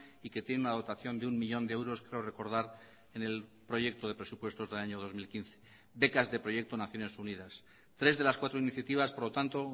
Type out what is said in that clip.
y que tiene una dotación de uno millón de euros creo recordar en el proyecto de presupuestos del año dos mil quince becas de proyecto naciones unidas tres de las cuatro iniciativas por lo tanto